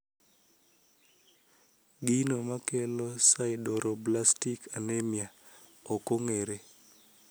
Gino makelo sideroblastic anemia okong`ere.